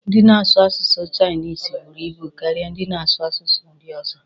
Ndị na-asụ asụsụ chainisi buru ibu karịa ndị na-asu asụsụ ndị ọzọ.